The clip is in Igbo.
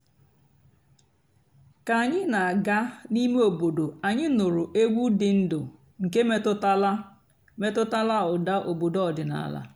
kà ànyị́ nà-àgá n'íìmé ímé òbòdo ànyị́ nụ́rụ́ ègwú dị́ ǹdụ́ nkè mètụ́tàlà mètụ́tàlà ụ́dà òbòdo ọ̀dị́náàlà.